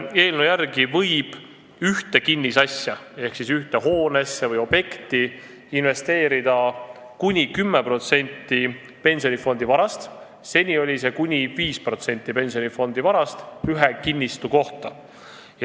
Eelnõu järgi võib ühte kinnisasja ehk hoonesse või objekti investeerida kuni 10% pensionifondi varast, seni oli see kuni 5% pensionifondi varast ühe kinnistu kohta.